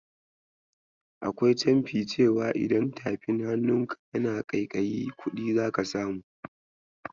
Akwai canfi cewa idan tafin hannunka yana ƙaiƙayi kudi zaka samu.